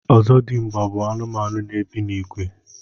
ọzọdịmgba bụ anụmanụ n'ebi n'ìgwè